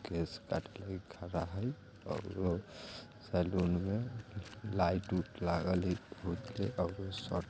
केश काटे लागि खड़ा हईअउरो सैलून मेलाइट उट लागल हई बहुते अउरो सट--